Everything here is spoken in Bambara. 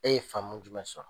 E ye famu jumɛn sɔrɔ ?